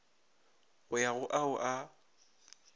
go ya go ao a